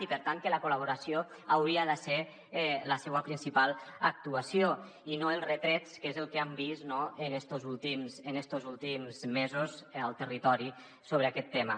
i per tant la col·laboració hauria de ser la seua principal actuació i no els retrets que és el que hem vist en estos últims mesos al territori sobre aquest tema